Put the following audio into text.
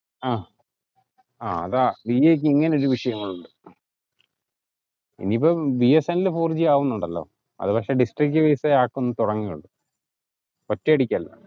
ആഹ് ആഹ് അതാ ഇങ്ങനെ ചില വിഷയങ്ങൾ ഉണ്ട്. ഇനി ഇപ്പം B S N L four G ആവുന്നുണ്ടല്ലോ അത് പക്ഷെ district wise എ ആക്കുക ഒറ്റയടിക്കല്ല